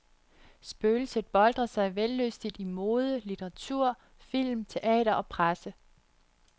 Spøgelset boltrer sig vellystigt i mode, litteratur, film, teater og presse.